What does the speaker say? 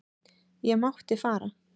Ég mátti fara.